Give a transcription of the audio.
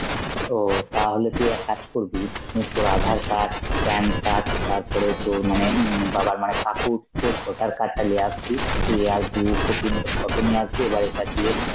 ও তাহলে তুই এক কাজ করবি, উম তোর আধার card, PAN card তারপরে তোর মানে হম বাবার মানে কাকুর তোর voter card টা লিয়ে আসবি, তুই আর দু copy র মত photo নিয়ে আসবি, এবারে এটা দিয়ে